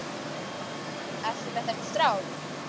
Ertu með þessum strák?